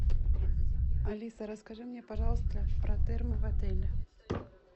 алиса расскажи мне пожалуйста про термо в отеле